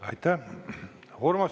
Aitäh!